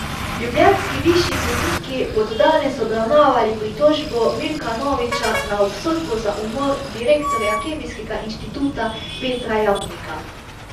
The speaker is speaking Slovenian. Ljubljanski višji sodniki bodo danes obravnavali pritožbo Milka Noviča na obsodbo za umor direktorja Kemijskega inštituta Petra Jamnika.